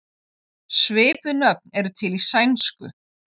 Svipuð nöfn eru til í sænsku.